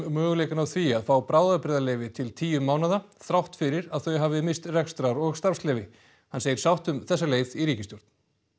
möguleikann á því að fá bráðabirgðarleyfi til tíu mánaða þrátt fyrir að þau hafi misst rekstrar og starfsleyfi hann segir sátt um þessa leið í ríkisstjórn